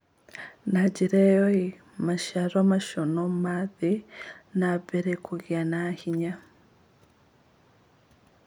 Na njĩra ĩyo, maciaro macio no mathiĩ na mbere kũgĩa na hinya.